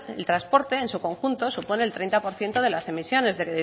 el transporte en su conjunto supone el treinta por ciento de las emisiones del